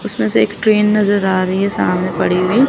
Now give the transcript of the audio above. उसमें से एक ट्रेन नजर आ रही है सामने पड़ी हुई।